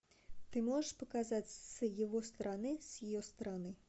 ты можешь показать с его стороны с ее стороны